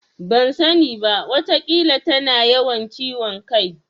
Ban sani ba. Wataƙila tana yawan ciwon kai.